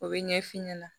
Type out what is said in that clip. O bɛ ɲɛfin ɲɛna